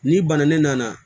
N'i banana ne nana